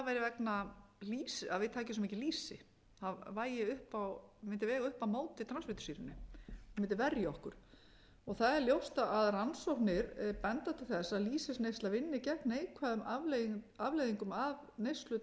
að við tækjum svo mikið lýsi það vægi upp á það mundi vega upp á móti transfitusýrunum mundi verja okkur það er ljóst að rannsóknir benda til þess að lýsisneysla vinni gegn neikvæðum afleiðingum af neyslu